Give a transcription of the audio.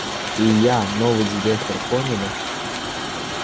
и я новый директор поняли